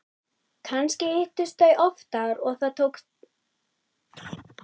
Kannski hittust þau oftar og það tók þau einhvern tíma að búa mig til.